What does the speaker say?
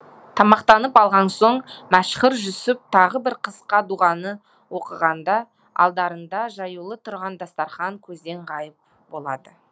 тамақтанып алған соң мәшһүр жүсіп тағы бір қысқа дұғаны оқығанда алдарында жаюлы тұрған дастарқан көзден ғайып болады